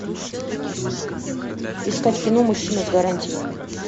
искать кино мужчина с гарантией